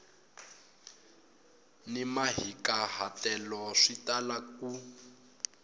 ni mahikahatelo swi tala ku